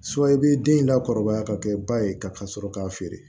i bɛ den in lakɔrɔbaya ka kɛ ba ye ka sɔrɔ k'a feere